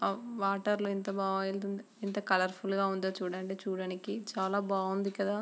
లో ఎంత బా ఏలుతుంది ఎంత కలర్ ఫుల్ గ ఉందొ చుడండి చూడ్డానికి చాల బాగుంది కదా .